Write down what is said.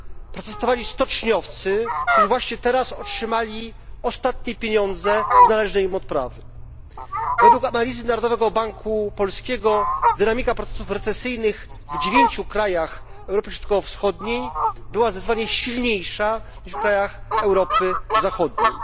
protestowali stoczniowcy, którzy właśnie teraz otrzymali ostatnie pieniądze z należnej im odprawy. Według analizy Narodowego Banku Polskiego dynamika procesów recesyjnych w dziewięciu krajach Europy Środkowo Wschodniej była zdecydowanie silniejsza, niż w krajach Europy Zachodniej.